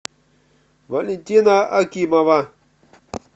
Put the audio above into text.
валентина акимова